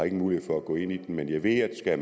ingen mulighed for at gå ind i den men jeg ved at